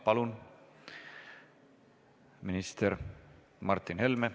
Palun, minister Martin Helme!